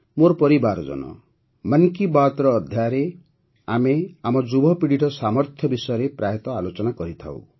ମୋର ପରିବାରଜନ ମନ୍ କି ବାତ୍ର ଅଧ୍ୟାୟରେ ଆମେ ଆମ ଯୁବପିଢ଼ିର ସାମର୍ଥ୍ୟ ବିଷୟରେ ପ୍ରାୟତଃ ଆଲୋଚନା କରିଥାଉଁ